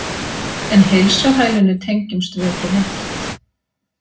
En heilsuhælinu tengjumst við ekki neitt.